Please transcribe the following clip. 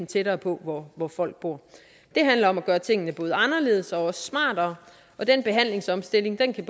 tættere på hvor hvor folk bor det handler om at gøre tingene både anderledes og smartere og den behandlingsomstilling kan